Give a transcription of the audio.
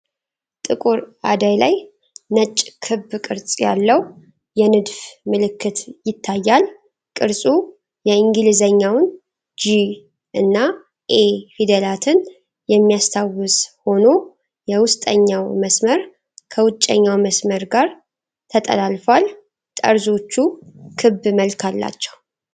ጥቁር አደይ ላይ፣ ነጭ ክብ ቅርጽ ያለው የንድፍ ምልክት ይታያል። ቅርጹ የእንግሊዝኛውን "G" እና "a" ፊደላትን የሚያስታውስ ሆኖ፣ የውስጠኛው መስመር ከውጫዊው መስመር ጋር ተጠላለፏል። ጠርዞቹ ክብ መልክ አላቸው።